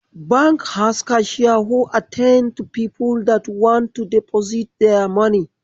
Bank has cashier who attend to people that want to deposit there money.